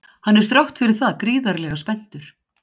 Hann er þrátt fyrir það gríðarlega spenntur.